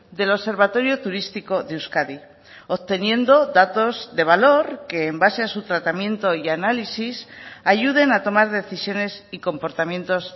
del observatorio turístico de euskadi obteniendo datos de valor que en base a su tratamiento y análisis ayuden a tomar decisiones y comportamientos